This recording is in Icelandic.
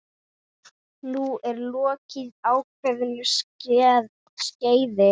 Nú er lokið ákveðnu skeiði.